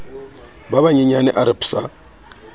ba banyenyane a re psa